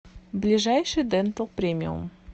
ближайший дентал премиум